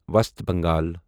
وسط بنگال